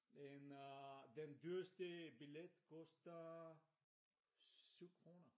Den øh den dyreste billet koster 7 kroner